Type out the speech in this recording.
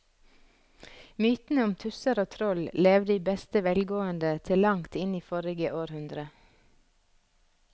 Mytene om tusser og troll levde i beste velgående til langt inn i forrige århundre.